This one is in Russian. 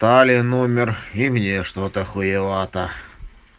талия номер и мне что-то хуевато